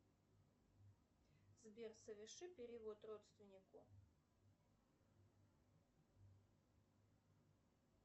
сбер соверши перевод родственнику